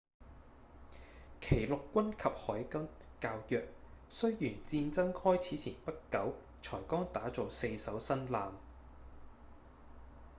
其陸軍及海軍較弱雖然戰爭開始前不久才剛打造四艘新艦